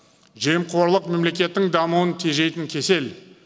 жемқорлық мемлекеттің дамуын тежейтін кесел